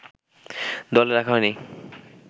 দলে রাখা হয়নি